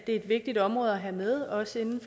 et vigtigt område at have med også inden